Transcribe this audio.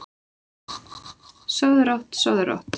Sofðu rótt, sofðu rótt.